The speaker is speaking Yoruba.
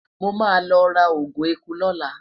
mo ma lo ra ogun ẹkú lola